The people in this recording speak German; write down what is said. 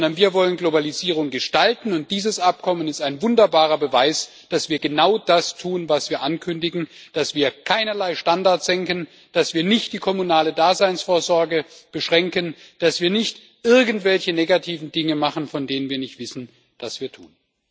Sondern wir wollen Globalisierung gestalten, und dieses Abkommen ist ein wunderbarer Beweis, dass wir genau das tun, was wir ankündigen, dass wir keinerlei Standards senken, dass wir nicht die kommunale Daseinsvorsorge beschränken, dass wir nicht irgendwelche negativen Dinge machen, von denen wir nicht wissen, was wir tun.